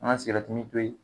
An ka siragɛrɛti min to yen .